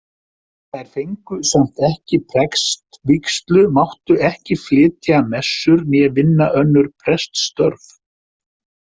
Þær fengu samt ekki prestvígslu, máttu ekki flytja messur né vinna önnur preststörf.